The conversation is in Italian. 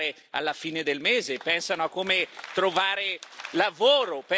lavoro, pensano a come sostenere i propri salari.